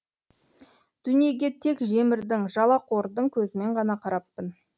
дүниеге тек жемірдің жалақордың көзімен ғана қараппын